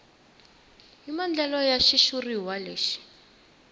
hi maandlalelo ya xitshuriwa lexi